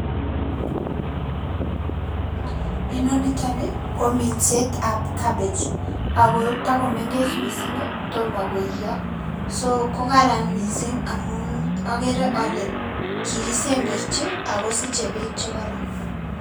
Inoni niton ni kominsetab cabbage ago togomengech missing' ii, tomo koiyo so kokaran missing' amun okere ole kikisemberchi ogo siche beek chekoron.